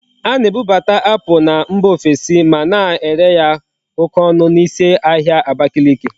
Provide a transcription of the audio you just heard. A na-ebubata apple na mba ofesi ma na ere ya oke onu na isi ahia Abakiliki